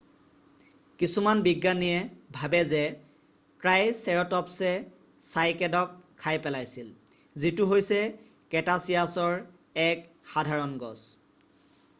কিছুমান বিজ্ঞানীয়ে ভাবে যে ট্ৰাইচেৰ'টপ্‌ছে চাইকেডক খাই পেলাইছিল যিটো হৈছে ক্ৰেটাছিয়াছৰ এক সাধাৰণ গছ।